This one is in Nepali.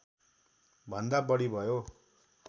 भन्दा बढी भयो